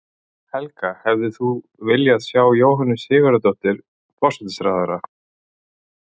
Helga: Hefðir þú viljað sjá Jóhönnu Sigurðardóttur, forsætisráðherra?